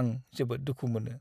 आं जोबोद दुखु मोनो।